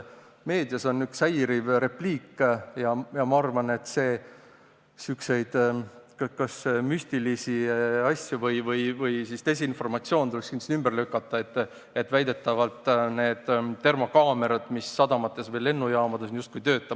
Meedias on üks häiriv repliik – ma arvan, et sellised müstilised asjad või desinformatsioon tuleks kindlasti ümber lükata –, et väidetavalt need termokaamerad, mis sadamates ja lennujaamades on, justkui ei tööta.